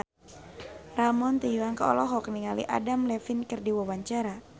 Ramon T. Yungka olohok ningali Adam Levine keur diwawancara